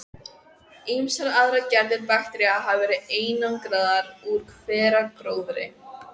Ýmsar aðrar gerðir baktería hafa verið einangraðar úr hveragróðri.